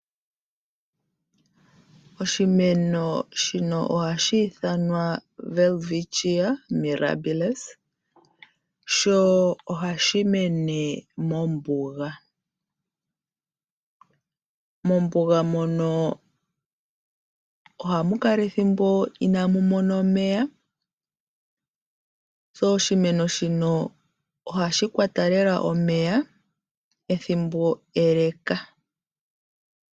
Oshimeno shino ohashi ithanwa Welwitschia mirabilis sho ohashi mene mombuga. Mombuga mono ohamu kala ethimbo inamu mona omeya, onkene oshimeno shino ohashi kwata lela omeya ethimbo eleka.